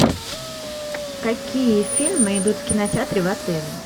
какие фильмы идут в кинотеатре в отеле